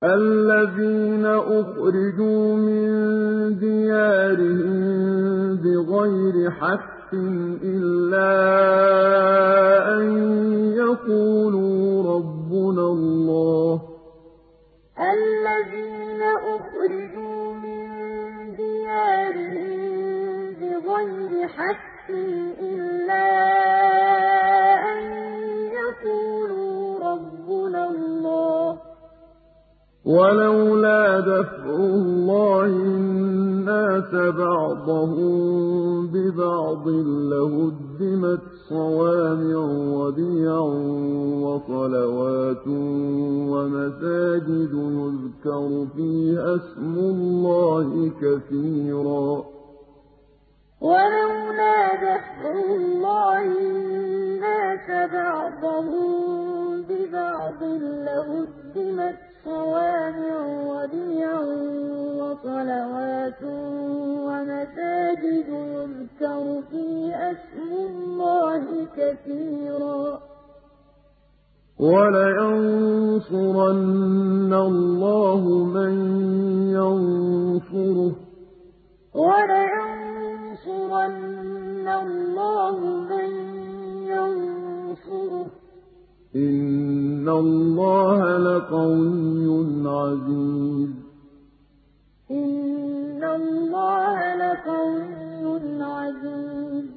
الَّذِينَ أُخْرِجُوا مِن دِيَارِهِم بِغَيْرِ حَقٍّ إِلَّا أَن يَقُولُوا رَبُّنَا اللَّهُ ۗ وَلَوْلَا دَفْعُ اللَّهِ النَّاسَ بَعْضَهُم بِبَعْضٍ لَّهُدِّمَتْ صَوَامِعُ وَبِيَعٌ وَصَلَوَاتٌ وَمَسَاجِدُ يُذْكَرُ فِيهَا اسْمُ اللَّهِ كَثِيرًا ۗ وَلَيَنصُرَنَّ اللَّهُ مَن يَنصُرُهُ ۗ إِنَّ اللَّهَ لَقَوِيٌّ عَزِيزٌ الَّذِينَ أُخْرِجُوا مِن دِيَارِهِم بِغَيْرِ حَقٍّ إِلَّا أَن يَقُولُوا رَبُّنَا اللَّهُ ۗ وَلَوْلَا دَفْعُ اللَّهِ النَّاسَ بَعْضَهُم بِبَعْضٍ لَّهُدِّمَتْ صَوَامِعُ وَبِيَعٌ وَصَلَوَاتٌ وَمَسَاجِدُ يُذْكَرُ فِيهَا اسْمُ اللَّهِ كَثِيرًا ۗ وَلَيَنصُرَنَّ اللَّهُ مَن يَنصُرُهُ ۗ إِنَّ اللَّهَ لَقَوِيٌّ عَزِيزٌ